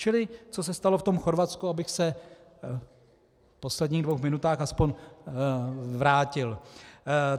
Čili co se stalo v tom Chorvatsku, abych se v posledních dvou minutách aspoň vrátil.